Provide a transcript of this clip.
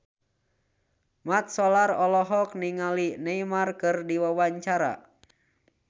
Mat Solar olohok ningali Neymar keur diwawancara